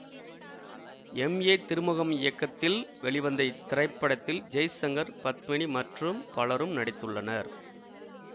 M A Thirumugam இயக்கத்தில் வெளிவந்த இத்திரைப்படத்தில் ஜெய்சங்கர் பத்மினி மற்றும் பலரும் நடித்துள்ளனர்